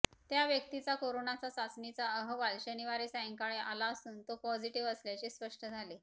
त्या व्यक्तीचा कोरोनाचा चाचणीचा अहवाल शनिवारी सायंकाळी आला असून तो पॉझिटिव्ह असल्याचे स्पष्ट झाले